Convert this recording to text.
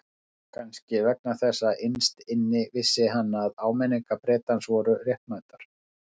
Kannski vegna þess að innst inni vissi hann að áminningar Bretans voru réttmætar.